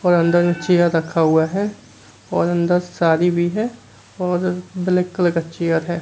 और अन्दर में चेयर रखा हुआ है और अन्दर सारी भी है और ब्लैक कलर का चेयर है।